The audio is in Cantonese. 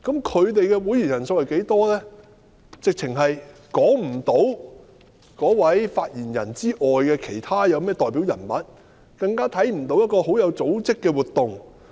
除了發言人外，實在說不出有甚麼其他代表人物，更看不到有甚麼很有組織的活動。